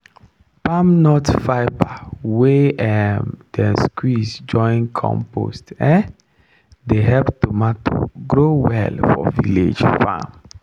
palm nut fibre wey um dem squeeze join compost um dey help tomato grow well for village farm.